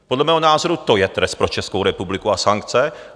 Podle mého názoru to je trest pro Českou republiku a sankce.